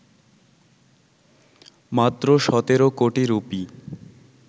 মাত্র ১৭ কোটি রুপি